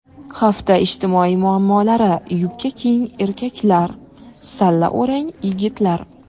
Hafta ijtimoiy muammolari: Yubka kiying erkaklar, salla o‘rang yigitlar.